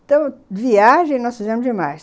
Então, viagem nós fizemos demais.